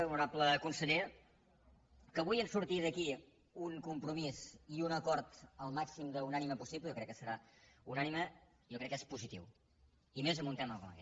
honorable conseller que avui surti d’aquí un compromís i un acord el màxim d’unànime possible jo crec que serà unànime jo crec que és positiu i més en un tema com aquest